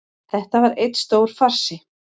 Þetta var einn stór farsi